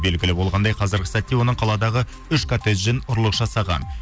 белгілі болғандай қазіргі сәтте оның қаладағы үш коттеджден ұрлық жасаған